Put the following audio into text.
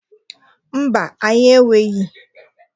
Mba, anyị enweghi.